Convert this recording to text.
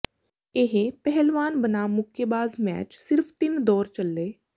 ਇਹ ਪਹਿਲਵਾਨ ਬਨਾਮ ਮੁੱਕੇਬਾਜ਼ ਮੈਚ ਸਿਰਫ ਤਿੰਨ ਦੌਰ ਚੱਲੇ